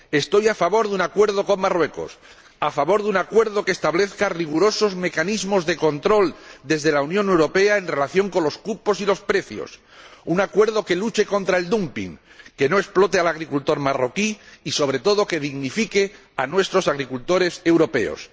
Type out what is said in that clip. Estoy a favor de un acuerdo con Marruecos, a favor de un acuerdo que establezca rigurosos mecanismos de control desde la Unión Europea en relación con los cupos y los precios, un acuerdo que luche contra el dumping, que no explote al agricultor marroquí y, sobre todo, que dignifique a nuestros agricultores europeos.